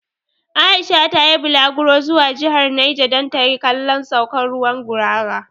Aisha ta yi bulaguro zuwa jihar Naja dan ta kalli saukan ruwan 'Gurara'.